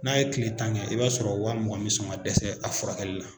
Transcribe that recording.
N'a ye kile tan kɛ i b'a sɔrɔ waa mugan me sɔn ka dɛsɛ a furakɛli la.